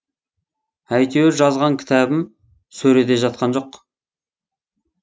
әйтеуір жазған кітабым сөреде жатқан жоқ